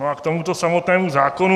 No a k tomuto samotnému zákonu.